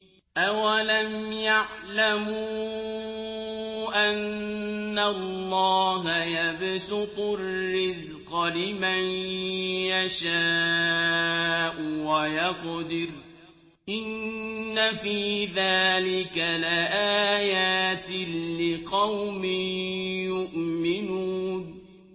أَوَلَمْ يَعْلَمُوا أَنَّ اللَّهَ يَبْسُطُ الرِّزْقَ لِمَن يَشَاءُ وَيَقْدِرُ ۚ إِنَّ فِي ذَٰلِكَ لَآيَاتٍ لِّقَوْمٍ يُؤْمِنُونَ